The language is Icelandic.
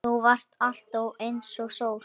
Þú varst alltaf einsog sól.